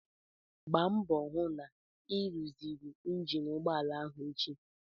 Gbaa mbọ hụ na ị ruziri injin ụgbọala ahụ echi!